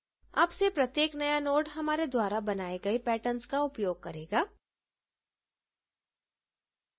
अब से प्रत्येक नया node हमारे द्वारा बनाए गए patterns का उपयोग करेगा